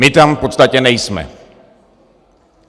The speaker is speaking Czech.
My tam v podstatě nejsme.